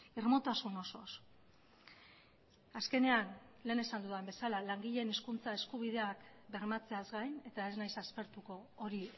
irmotasun osoz azkenean lehen esan dudan bezala langileen hizkuntza eskubideak bermatzeaz gain eta ez naiz aspertuko hori